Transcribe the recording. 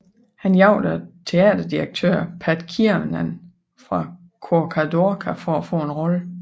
Han jagtede teaterdirektøren Pat Kiernan fra Corcadorca for at få en rolle